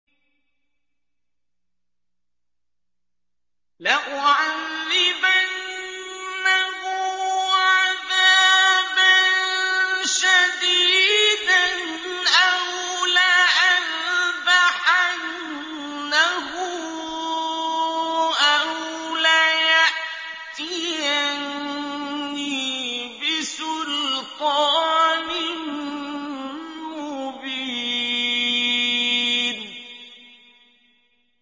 لَأُعَذِّبَنَّهُ عَذَابًا شَدِيدًا أَوْ لَأَذْبَحَنَّهُ أَوْ لَيَأْتِيَنِّي بِسُلْطَانٍ مُّبِينٍ